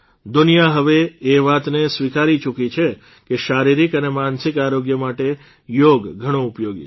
દુનિયા હવે એ વાતને સ્વીકારી ચૂકી છે કે શારિરીક અને માનસિક આરોગ્ય માટે યોગ ઘણો ઉપયોગી છે